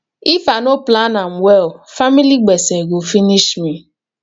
if i no plan am well family gbese go finish me